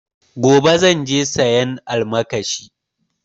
Gobe zan je sayan almakashi